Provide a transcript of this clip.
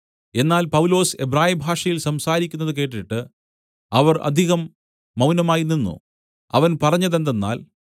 എന്നാൽ പൗലോസ് എബ്രായഭാഷയിൽ സംസാരിക്കുന്നത് കേട്ടിട്ട് അവർ അധികം മൗനമായി നിന്നു അവൻ പറഞ്ഞതെന്തെന്നാൽ